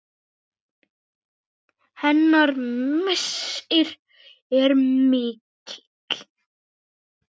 Hennar missir er mikill.